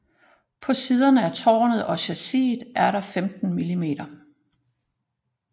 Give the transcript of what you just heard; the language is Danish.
På siderne af tårnet og chassiset var der 15 mm